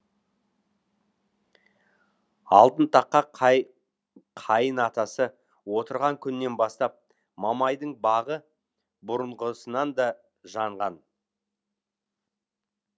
алтын таққа қайын атасы отырған күннен бастап мамайдың бағы бұрынғысынан да жанған